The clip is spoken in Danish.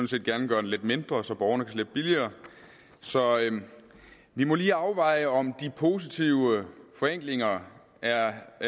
set gerne gøre den lidt mindre så borgerne kan slippe billigere så vi må lige afveje om de positive forenklinger er